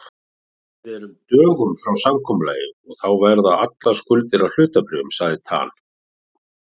Við erum dögum frá samkomulagi og þá verða allar skuldir að hlutabréfum, sagði Tan.